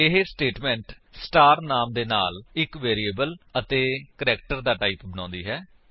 ਇਹ statement star ਨਾਮ ਦੇ ਨਾਲ ਇੱਕ ਵੇਰਿਏਬਲ ਅਤੇ ਚਾਰ ਦਾ ਟਾਈਪ ਬਣਾਉਂਦੀ ਹੈ